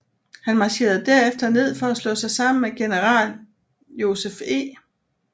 Han marcherede derefter ned for at slå sig sammen med general Joseph E